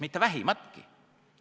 Mitte vähimatki.